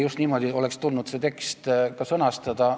Just niimoodi oleks tulnud see tekst ka sõnastada.